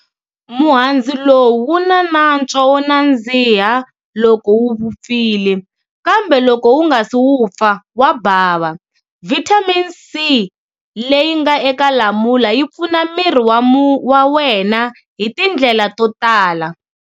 Muhandzu lowu wuna nantswo wo nandziha loko wuvupfile, kambe loko wunga si wupfa wa bava. Vitamin C leyi nga eka Lamula yi pfuna miri wa wena hi tindlela to tala.